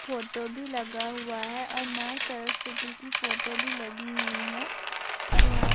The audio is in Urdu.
فوٹو بھی لگا ہوا ہے اور ماں سرسوتی کی فوٹو بھی لگی ہوئی ہے -اوریہاں